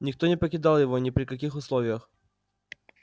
никто не покидал его ни при каких условиях